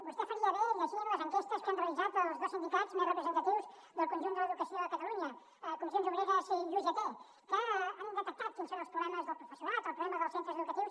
vostè faria bé llegint les enquestes que han realitzat els dos sindicats més representatius del conjunt de l’educació a catalunya comissions obreres i ugt que han detectat quins són els problemes del professorat el problema dels centres educatius